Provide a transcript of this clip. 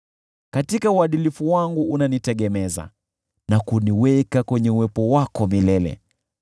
Katika uadilifu wangu unanitegemeza na kuniweka kwenye uwepo wako milele.